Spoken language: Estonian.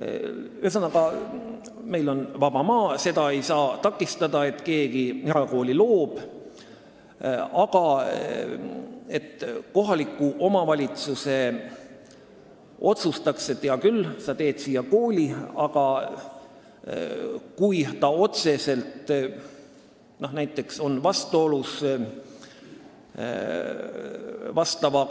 Ühesõnaga, meil on vaba maa ja ei saa takistada, et keegi erakooli loob, aga kui see on näiteks otseselt vastuolus